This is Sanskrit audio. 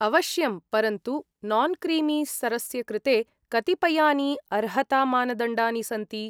अवश्यम्! परन्तु नान्क्रीमीस्तरस्य कृते कतिपयानि अर्हतामानदण्डानि सन्ति।